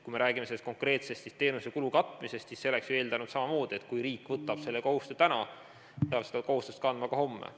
Kui me räägime selle konkreetse teenuse kulu katmisest, siis see oleks ju eeldanud samamoodi, et kui riik võtab täna selle kohustuse, siis peab ta seda kohustust kandma ka homme.